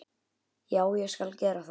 já, ég skal gera það.